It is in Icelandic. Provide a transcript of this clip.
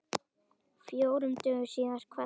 Fjórum dögum síðar kvaddi hann.